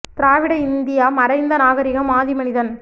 திராவிட India மறைந்த நாகரிகம் ஆதி மனிதன்